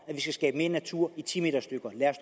at vi skal skabe mere natur i ti meter stykker lad os